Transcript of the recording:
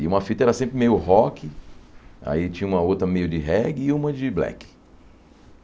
E uma fita era sempre meio rock, aí tinha uma outra meio de reggae e uma de black.